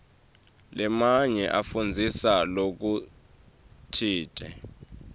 lamanye afundzisa lokutsite